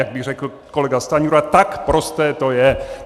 Jak by řekl kolega Stanjura, tak prosté to je!